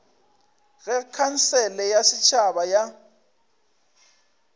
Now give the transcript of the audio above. ge khansele ya setšhaba ya